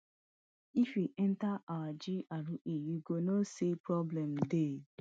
if you enta our GRA you go know say problem dey